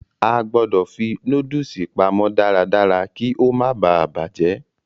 A gbọ̀dọ̀ fi nóódùsì pamọ́ darádará kí ó má baà bàjẹ́